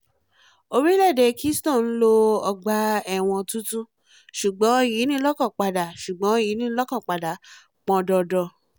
orílẹ̀-èdè kingston nílò ọgbà-ẹ̀wọ̀n tuntun ṣùgbọ́n ìyínilọ́kànpadà ṣùgbọ́n ìyínilọ́kànpadà pọn dandan